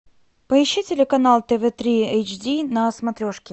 поищи телеканал тв три эйч ди на смотрешке